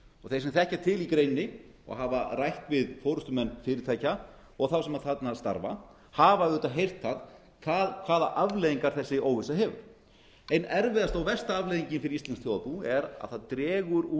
þeir sem þekkja til í greininni og hafa rætt við forustumenn fyrirtækja og þá sem þarna starfa hafa auðvitað heyrt það hvaða afleiðingar þessi óvissa hefur ein erfiðasta og versta afleiðingin fyrir íslenskt þjóðarbú er að það dregur úr